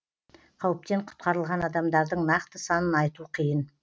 қауіптен құтқарылған адамдардың нақты санын айту қиын